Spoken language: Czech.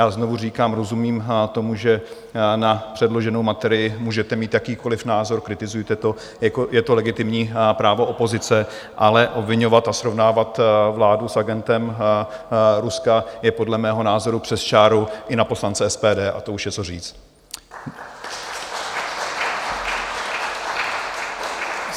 Já znovu říkám, rozumím tomu, že na předloženou materii můžete mít jakýkoliv názor, kritizujte to, je to legitimní právo opozice, ale obviňovat a srovnávat vládu s agentem Ruska, je podle mého názoru přes čáru i na poslance SPD, a to už je co říct.